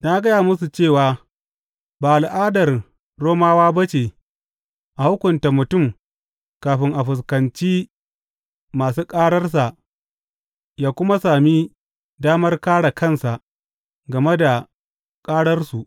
Na gaya musu cewa ba al’adar Romawa ba ce a hukunta mutum kafin ya fuskanci masu ƙararsa ya kuma sami damar kāre kansa game da ƙararsu.